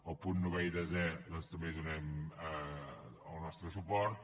als punts novè i desè doncs també hi donarem el nostre suport